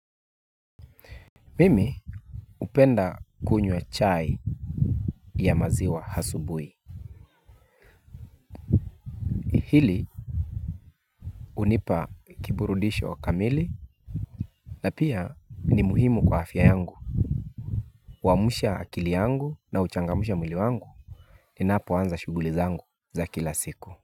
Mimi hupenda kunywa chai ya maziwa asubuhi. Hili unipa kiburudisho wa kamili. Na pia ni muhimu kwa afya yangu. Huamsha akili yangu na huchangamsha mwili wangu. Ninapoanza shughuli zangu za kila siku.